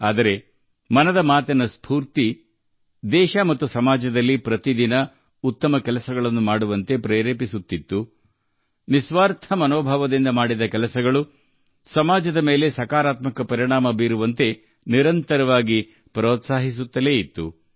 ಆದರೆ ದೇಶ ಮತ್ತು ಸಮಾಜದಲ್ಲಿ 'ಮನ್ ಕಿ ಬಾತ್' ಮನೋಭಾವ ಪ್ರತಿದಿನ ಮಾಡುವ ಒಳ್ಳೆಯ ಕೆಲಸ ನಿಸ್ವಾರ್ಥ ಮನೋಭಾವದಿಂದ ಮಾಡುವ ಕೆಲಸ ಕೆಲಸದಿಂದ ಸಮಾಜದ ಮೇಲಾಗುವ ಸಕಾರಾತ್ಮಕ ಪರಿಣಾಮ - ಇವೆಲ್ಲವನ್ನೂ ಪಟ್ಟುಬಿಡದೆ ನಡೆಸಿತು